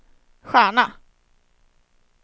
stjärna